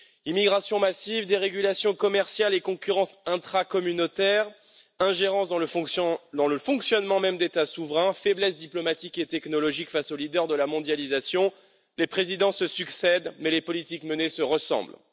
Immigration massive, dérégulation commerciale et concurrence intracommunautaire, ingérence dans le fonctionnement même d'États souverains, faiblesse diplomatique et technologique face aux leaders de la mondialisation, les présidents se succèdent mais les politiques menées se ressemblent.